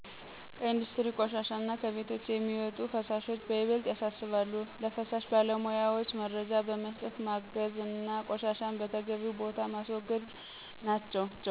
ከኢንዱስትሪ ቆሻሻ እና ከቤቶች የሚወጡ ፍሳሾች በይበልጥ ያሣስባሉ። ለፍሳሽ ባለሞያወች መረጃ በመስጠት ማገዝ አና ቆሻሻን በተገቢው ቦታ ማስወገድ ናቸው